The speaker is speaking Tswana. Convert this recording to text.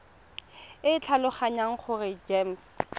e ke tlhaloganya gore gems